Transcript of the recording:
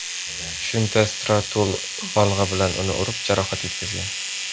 Shunda Stratul bolg‘a bilan uni urib, jarohat yetkazgan.